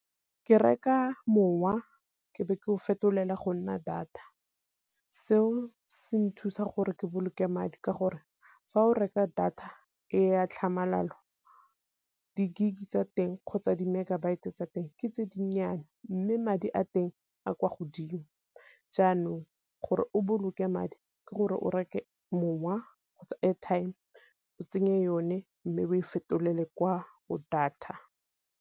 Ke reka mowa ke be ke go fetolela go nna data, seo se nthusa gore ke boloke madi ka gore fa o reka data e a tlhamalalo di-gig tsa teng kgotsa di-megabyte tsa teng ke tse dinnyane, mme madi a teng a kwa godimo. Jaanong gore o boloke madi ke gore o reke mowa kgotsa airtime o tsenye yone, mme o e fetolelwe kwa go data.